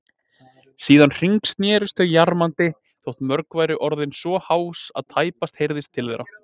Síðan hringsnerust þau jarmandi, þótt mörg væru orðin svo hás að tæpast heyrðist til þeirra.